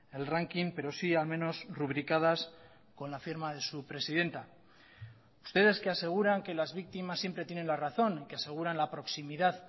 el ranking pero sí al menos rubricadas con la firma de su presidenta ustedes que aseguran que las víctimas siempre tienen la razón que aseguran la proximidad